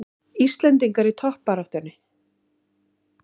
Íslendingar í toppbaráttunni